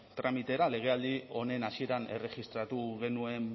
tramitera legealdi honen hasieran erregistratu genuen